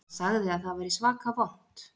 Hann sagði að það væri svaka vont